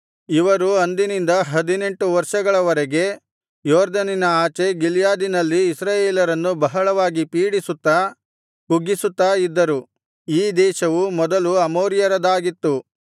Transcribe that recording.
ಇವರು ಅಂದಿನಿಂದ ಹದಿನೆಂಟು ವರ್ಷಗಳ ವರೆಗೆ ಯೊರ್ದನಿನ ಆಚೆ ಗಿಲ್ಯಾದಿನಲ್ಲಿದ್ದ ಇಸ್ರಾಯೇಲರನ್ನು ಬಹಳವಾಗಿ ಪೀಡಿಸುತ್ತಾ ಕುಗ್ಗಿಸುತ್ತಾ ಇದ್ದರು ಈ ದೇಶವು ಮೊದಲು ಅಮೋರಿಯರದಾಗಿತ್ತು